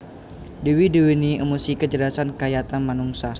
Dewa duweni emosi kacerdasan kayata manungsa